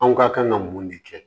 Aw ka kan ka mun de kɛ